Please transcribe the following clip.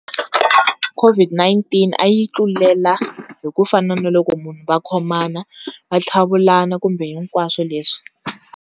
COVID-19 a yi tlulela hi ku fana na loko munhu va khomana, va tlhavulana kumbe hinkwaswo leswi.